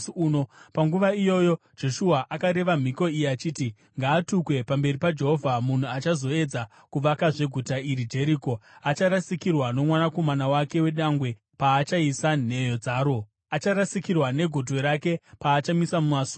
Panguva iyoyo Joshua akareva mhiko iyi achiti, “Ngaatukwe pamberi paJehovha munhu achazoedza kuvakazve guta iri Jeriko: “Acharasikirwa nomwanakomana wake wedangwe paachaisa nheyo dzaro; acharasikirwa negotwe rake paachamisa masuo aro.”